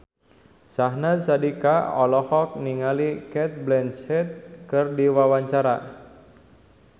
Syahnaz Sadiqah olohok ningali Cate Blanchett keur diwawancara